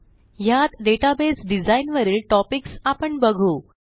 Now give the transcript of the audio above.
ह्यात database design वरील topics आपण बघू